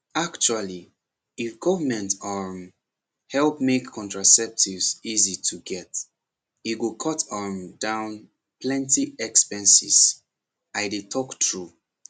actually if government um help make contraceptives easy to get e go cut um down plenty expenses i dey talk true